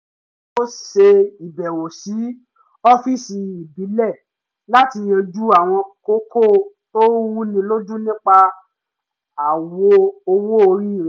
ó ṣe ìbẹ̀wò sí ọ́fíìsì ìbílẹ̀ láti yánjú àwọn kókó tó rú ni lójú nípa àwọ owó orí rẹ̀